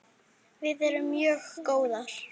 Við erum mjög góðar.